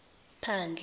phandle